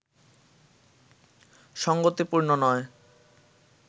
সঙ্গতিপূর্ণ নয়